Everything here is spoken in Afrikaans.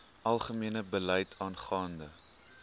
algemene beleid aangaande